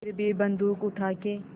फिर भी बन्दूक उठाके